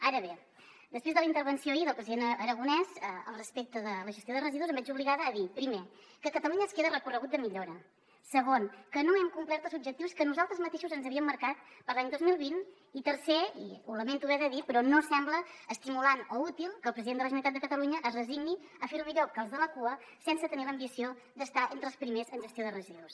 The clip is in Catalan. ara bé després de la intervenció ahir del president aragonès respecte de la gestió de residus em veig obligada a dir primer que a catalunya ens queda recorregut de millora segon que no hem complert els objectius que nosaltres mateixos ens havíem marcat per a l’any dos mil vint i tercer i ho lamento haver de dir però no sembla estimulant o útil que el president de la generalitat de catalunya es resigni a fer ho millor que els de la cua sense tenir l’ambició d’estar entre els primers en gestió de residus